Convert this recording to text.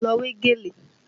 Lọ wé gèlè!